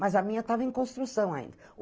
Mas a minha estava em construção ainda.